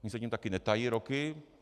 Oni se tím také netají roky.